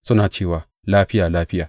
Suna cewa, Lafiya, Lafiya,